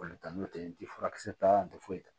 Olu ta n'o tɛ n tɛ furakisɛ ta n tɛ foyi ta